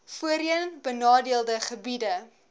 voorheen benadeelde gebiede